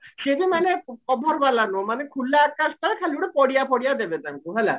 ସିଏ ଯେ ମାନେ cover ବାଲା ନୁହ ମାନେ ଖୁଲା ଆକାଶ ତଳେ ଖାଲି ଗୋଟେ ଖାଲି ଗୋଟେ ପଡିଆ ଫଡିଆ ଦେବେ ତାଙ୍କୁ ହେଲା